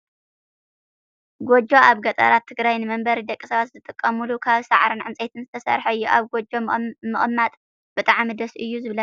ጉጆ ኣብ ገጠራት ትግራይ ንመንበሪ ደቂ ሰባት ዝጥቀሙሉ ካብ ሳዕርን ዕንፀይትን ዝተሰረሓ እዩ። ኣብ ጎጆ ምቅማጥ ብጣዕሚ ደስ እዩ ዝብለካ ።